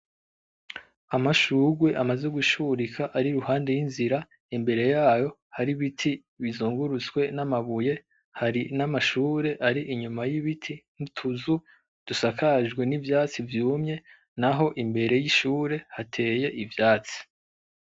Amashurwe amaze gushurika ari iruhande y'inzira, imbere yayo hari ibiti bizungurutswe n'amabuye, hari n'amashure ari inyuma y'ibiti n'utuzu dusakajwe n'ivyatsi vyumye, naho imbere y'ishure hateye ivyatsi.